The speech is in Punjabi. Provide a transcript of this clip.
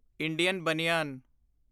ਇੰਡੀਅਨ ਬਨਿਆਨ